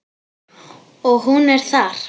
Og hún er þar.